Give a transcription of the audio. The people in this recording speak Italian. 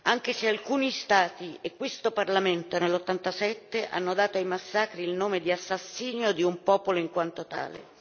anche se alcuni Stati e questo Parlamento nel 1987 hanno dato ai massacri il nome di assassinio di un popolo in quanto tale.